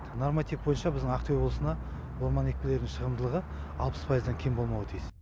норматив бойынша біздің ақтөбе облысына орман екпелерінің шығымдылығы алпыс пайыздан кем болмауы тиіс